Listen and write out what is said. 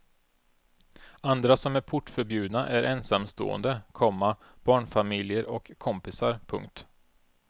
Andra som är portförbjudna är ensamstående, komma barnfamiljer och kompisar. punkt